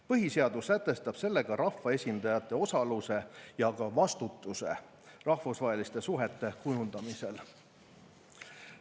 Põhiseadus sätestab sellega rahvaesindajate osaluse ja ka vastutuse rahvusvaheliste suhete kujundamisel.